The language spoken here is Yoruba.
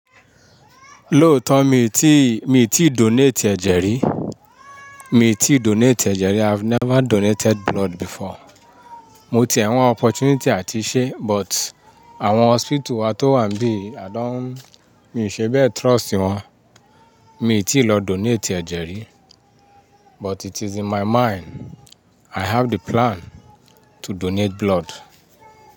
Lóòótọ́ mi ò tíì, mi ò tíì donate ẹ̀jẹ̀ rí. Mi ò tíì donate ẹ̀jẹ̀ rí. I've never donated blood before. Mo ti ẹ̀ wa opportunity àti ṣe but àwọn hospital wá tó wà níbí àádán mi ò ṣe bẹ́ẹ̀ trust wọn. Mi tíì lọ donate ẹ̀jẹ̀ rí but it is in my mind. I have the plan to donate blood.